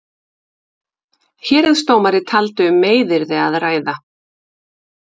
Héraðsdómari taldi um meiðyrði að ræða.